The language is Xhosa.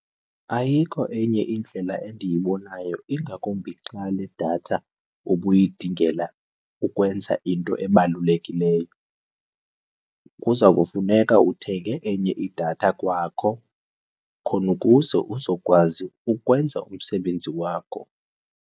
Ayikho enye indlela endiyibonayo ingakumbi xa le datha ubuyidingela ukwenza into ebalulekileyo. Kuza kufuneka uthenge enye idatha kwakho khona ukuze uzokwazi ukwenza umsebenzi wakho.